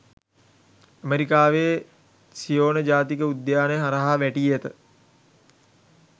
ඇමරිකාවේ සියෝන ජාතික උද්‍යානය හරහා වැටී ඇත.